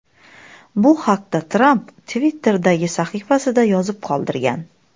Bu haqda Tramp Twitter’dagi sahifasida yozib qoldirgan .